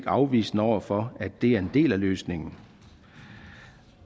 afvisende over for at det er en del af løsningen